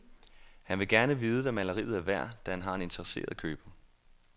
Han vil gerne vide, hvad maleriet er værd, da han har en interesseret køber.